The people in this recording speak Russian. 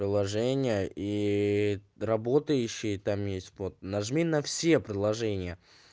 приложение и работающий там есть вот нажми на все предложения